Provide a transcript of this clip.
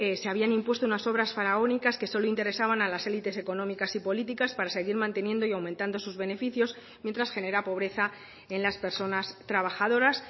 se habían impuesto unas obras faraónicas que solo interesaban a las elites económicas y políticas para seguir manteniendo y aumentando sus beneficios mientras genera pobreza en las personas trabajadoras